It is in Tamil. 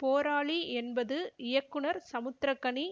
போராளி என்பது இயக்குனர் சமுத்திரக்கனி